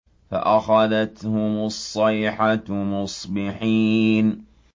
فَأَخَذَتْهُمُ الصَّيْحَةُ مُصْبِحِينَ